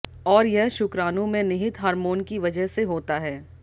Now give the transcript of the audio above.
और यह शुक्राणु में निहित हार्मोन की वजह से होता है